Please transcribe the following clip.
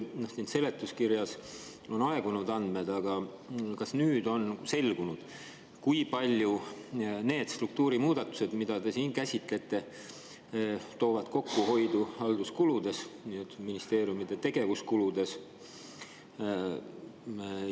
Siin seletuskirjas on juba aegunud andmed, kas nüüd on selgunud, kui palju need struktuurimuudatused, mida te käsitlete, toovad kokkuhoidu halduskuludes, ministeeriumide tegevuskuludes?